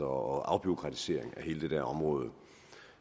og afbureaukratisering af hele det område